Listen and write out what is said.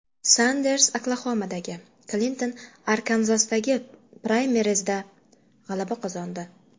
Sanders Oklaxomadagi, Klinton Arkanzasdagi praymerizda g‘alaba qozondi.